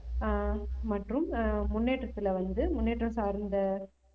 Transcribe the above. ஆஹ் மற்றும் ஆஹ் முன்னேற்றத்துல வந்து முன்னேற்றம் சார்ந்த